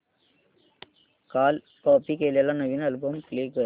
काल कॉपी केलेला नवीन अल्बम प्ले कर